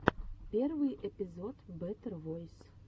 первый эпизод бэтэр войс